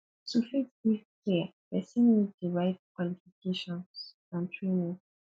to fit give care persin need di right qualifications and training